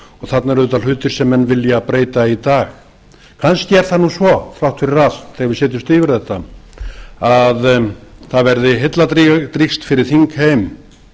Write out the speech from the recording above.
þarna eru auðvitað hlutir sem menn vera breyta í dag kannski er það nú svo þrátt fyrir allt þegar við setjumst yfir þetta að það verði heilladrýgst fyrir þingheim